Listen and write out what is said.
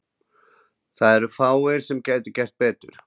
Það eru fáir sem gætu gert betur.